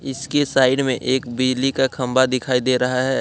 इसके साइड में एक बिजली का खंबा दिखाई दे रहा है।